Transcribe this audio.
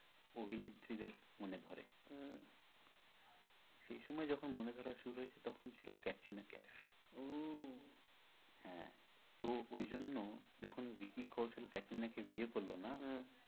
অভিনেত্রীদের মনে ধরে হ্যাঁ, সেই সময় যখন মনে ধরা শুরু হয়েছিল তখন ছিল ক্যাটরিনা কাইফ। ও হ্যাঁ, তো ওই জন্য যখন ভিকি কৌশল ক্যাটরিনাকে বিয়ে করল না,